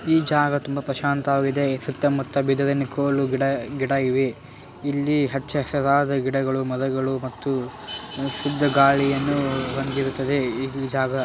ಈ ಜಾಗ ತುಂಬಾ ಪ್ರಶಾಂತವಾಗಿದೆ ಸುತ್ತ ಮುತ್ತ ಬಿದಿರಿನ ಕೋಲು ಗಿಡ ಗಿಡ ಇವೆ. ಇಲ್ಲಿ ಹಚ್ಚ-ಹಸಿರಾದ ಗಿಡಗಳು ಮರಗಳು ಮತ್ತು ಶುದ್ಧ ಗಾಳಿಯನ್ನು ಹೊಂದಿರುತ್ತದೆ ಈ ಜಾಗ.